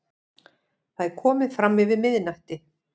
Það er komið framyfir miðnætti.